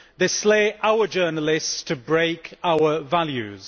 They slay our journalists to break our values.